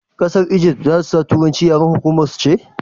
ƙasar Ijift za su sa turanci yaren hukuma su ne?